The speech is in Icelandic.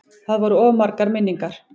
Það voru of margar minningar.